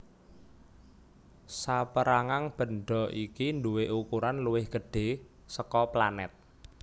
Sapérangan bendha iki nduwé ukuran luwih gedhé saka planèt